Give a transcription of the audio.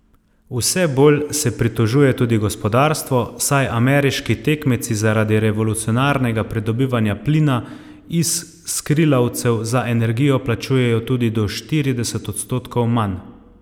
Vse bolj se pritožuje tudi gospodarstvo, saj ameriški tekmeci zaradi revolucionarnega pridobivanja plina iz skrilavcev za energijo plačujejo tudi do štirideset odstotkov manj.